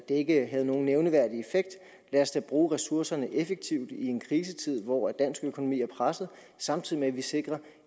ikke havde nogen nævneværdig effekt lad os da bruge ressourcerne effektivt i en krisetid hvor dansk økonomi er presset samtidig med at vi sikrer